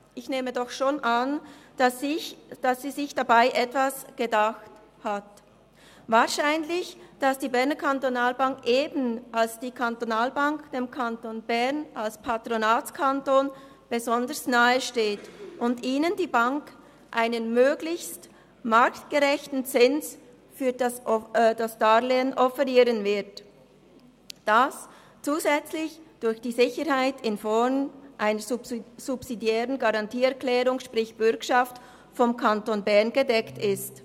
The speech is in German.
Ich nehme doch schon an, dass sie sich dabei etwas gedacht hat, wahrscheinlich, dass die BEKB – eben als Kantonalbank – dem Kanton Bern als Patronatskanton besonders nahe steht und ihr die Bank einen möglichst marktgerechten Zins für das Darlehen offerieren wird, das zusätzlich durch die Sicherheit in Form einer subsidiären Garantieerklärung, sprich: Bürgschaft, vom Kanton Bern gedeckt ist.